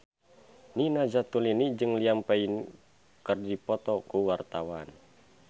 Nina Zatulini jeung Liam Payne keur dipoto ku wartawan